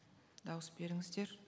дауыс беріңіздер